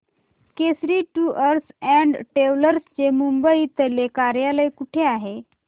Kesari tours and travels चे मुंबई तले कार्यालय कुठे आहे